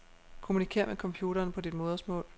Kommunikér med computeren på dit modersmål.